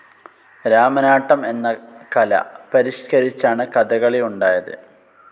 രാമനാട്ടം എന്ന കല പരിഷ്ക്കരിച്ചാണ് കഥകളി ഉണ്ടായത്.